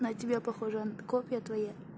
на тебя похожа он копия твоя